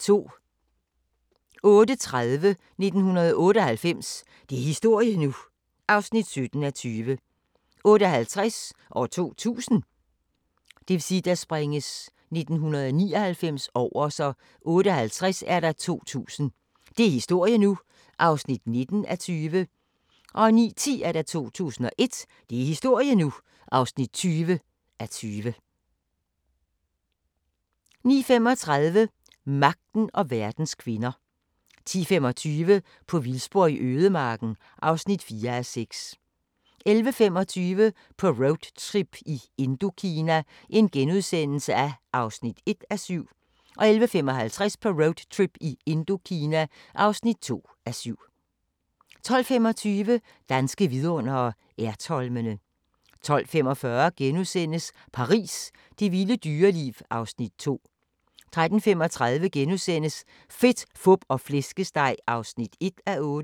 08:30: 1998 – det er historie nu! (17:20) 08:50: 2000 – det er historie nu! (19:20) 09:10: 2001 – det er historie nu! (20:20) 09:35: Magten og verdens kvinder 10:25: På vildspor i ødemarken (4:6) 11:25: På roadtrip i Indokina (1:7)* 11:55: På roadtrip i Indokina (2:7) 12:25: Danske vidundere: Ertholmene 12:45: Paris – det vilde dyreliv (Afs. 2)* 13:35: Fedt, fup og flæskesteg (1:8)*